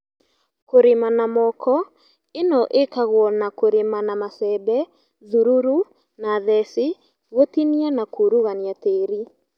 Kũrĩma na moko - ĩno ĩkagwo na kũrĩma na macembe, thururu, na theci, gũtinia na kũrugunia tĩri